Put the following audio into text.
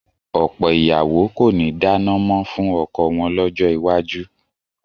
Ọ̀pọ̀ ìyàwó kò ní dáná mọ́ fún ọkọ wọn lọ́jọ́ iwájú